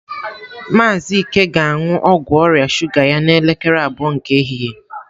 Maazị Ike ga-aṅụ ọgwụ ọrịa shuga ya n'elekere abụọ nke ehihie.